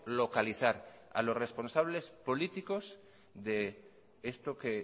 localizar a los responsables políticos de esto que